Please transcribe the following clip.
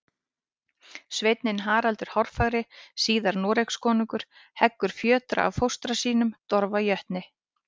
Sveinninn Haraldur hárfagri, síðar Noregskonungur, heggur fjötra af fóstra sínum, Dofra jötni.